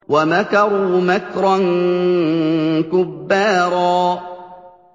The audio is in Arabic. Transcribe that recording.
وَمَكَرُوا مَكْرًا كُبَّارًا